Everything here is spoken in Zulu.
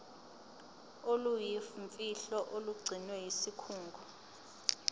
oluyimfihlo olugcinwe yisikhungo